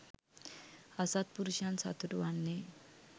අසත්පුරුෂයන් සතුටු වන්නේ